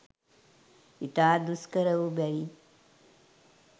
ඉතා දුෂ්කර වූ බැවින්